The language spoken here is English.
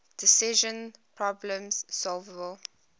decision problems solvable